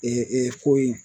ko in